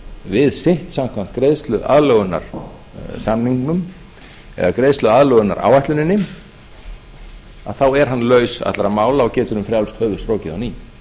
við sitt samkvæmt greiðsluaðlögunaráætluninni þá er hann laus allra mála og getur um frjálst höfuð strokið á ný